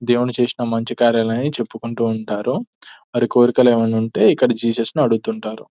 దేముడు చేసిన మంచి కార్యాలని చెప్పుకుంటూ ఉంటారు. మరి కోరికలు ఏమన్నా ఉంటే ఇక్కడ జీసస్ ని అడుగుతుంటారు.